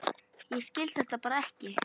Ég skil þetta bara ekki.